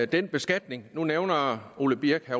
den beskatning nu nævner herre ole birk